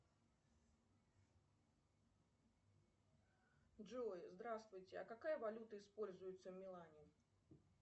джой здравствуйте а какая валюта используется в милане